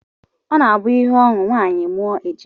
Ọ na-abụ ihe ọṅụ ma nwaanyị mụọ ejima